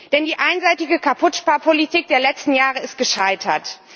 Denn die einseitige Kaputtsparpolitik der letzten Jahre ist gescheitert.